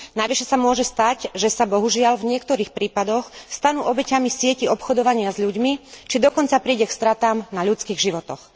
Navyše sa môže stať, že sa, bohužiaľ, v niektorých prípadoch stanú obeťami sietí obchodovania s ľuďmi, či dokonca príde k stratám na ľudských životoch.